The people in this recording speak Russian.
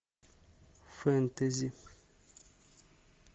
фэнтези